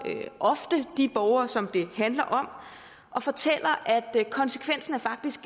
ofte de borgere som det handler om og fortæller at konsekvenserne faktisk